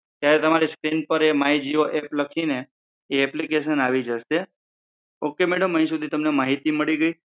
ત્યારે તમારી સ્ક્રીન પર એ માઇ જીઓ એપ લખીંને એ એપ્લિકેશન આવી જશે. ઓકે મેડમ અહિં સુધી તમને માહિતી મળી ગઈ.